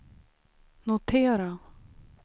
notera